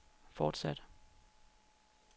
fortsatte